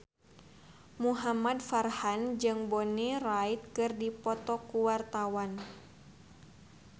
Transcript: Muhamad Farhan jeung Bonnie Wright keur dipoto ku wartawan